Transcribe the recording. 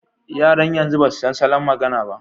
Yaran yanzu ba su san salon magana ba.